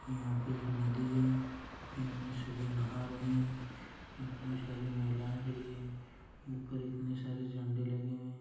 यहाँ पे एक नदी है इनमें सभी नहा रहे है इतनी सारी महिलाएं खड़ी है ऊपर इतने सारे झंडे लगे हुए हैं।